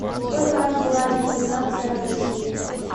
сколько раз была деноминация в россии